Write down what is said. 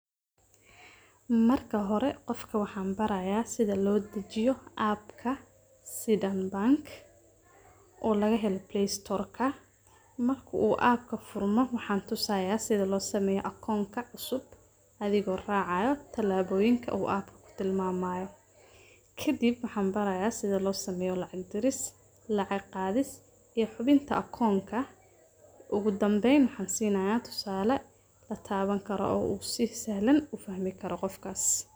Marka hore qofka waxan baraya sida loo dejiyo appka, sida bank oo laga helo playstorka, marka uu appka furmo waxan tusaya sida loo sameeyo akonka cusub adigo raacayo tilabooyinka uu appka tilmaamayo, kadib waxan baraya sida loo sameeyo lacag diris, lacag qaadis iyo xubinta akonka, ogu dambeyn waxan sinaaya tusale lataaban karo oo u si sahlan ufahmi karo qofkas